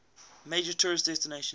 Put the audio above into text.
major tourist destination